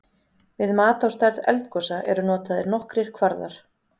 Við mat á stærð eldgosa eru notaðir nokkrir kvarðar.